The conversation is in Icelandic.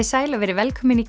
sæl og veriði velkomin í